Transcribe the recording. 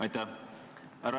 Aitäh!